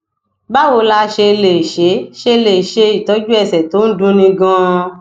báwo la ṣe lè ṣe ṣe lè ṣe itoju ẹsẹ to n dunni ganan